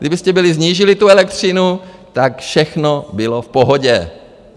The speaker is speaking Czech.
Kdybyste byli snížili tu elektřinu, tak všechno bylo v pohodě.